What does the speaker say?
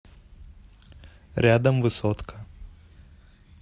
рядом высотка